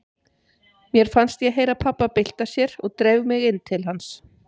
Mér fannst ég heyra pabba bylta sér og dreif mig inn til hans.